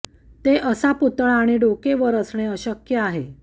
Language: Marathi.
ते असा पुतळा आणि डोके वर असणे आवश्यक आहे